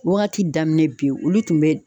Wagati daminɛ bin olu tun bɛ